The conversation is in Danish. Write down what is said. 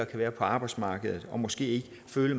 være på arbejdsmarkedet og måske føle